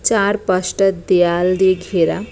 চারপাশ টা দেয়াল দিয়ে ঘেরা।